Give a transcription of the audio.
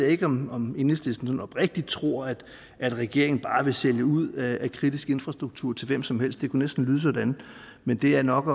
ikke om om enhedslisten sådan oprigtigt tror at regeringen bare vil sælge ud af kritisk infrastruktur til hvem som helst det kunne næsten lyde sådan men det er nok